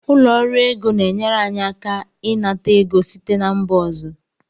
Ụlọ ọrụ ego na-enyere anyị aka ịnata ego site na mba ọzọ